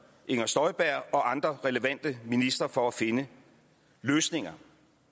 inger støjberg og andre relevante ministre for at finde løsninger